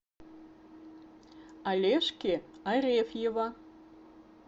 олежки арефьева